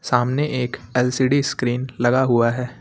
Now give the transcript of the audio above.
सामने एक LCD screen लगा हुआ है।